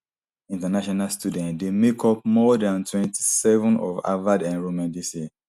international students dey make up more dan twenty-seven of harvard enrolment dis year